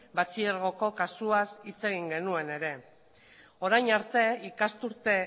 batxilergoko kasuaz hitz egin genuen ere orain arte ikasturte